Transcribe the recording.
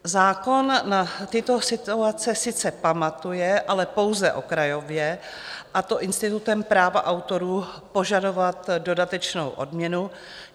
Zákon na tyto situace sice pamatuje, ale pouze okrajově, a to institutem práva autorů požadovat dodatečnou odměnu.